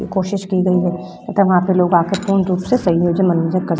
कोशिश की गई है तथा वहाँ पे लोग आकर पूर्ण रूप से संयोजन मनोरंजन कर --